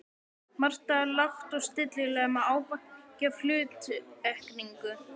Marta lágt og stillilega með ávæningi af hluttekningu.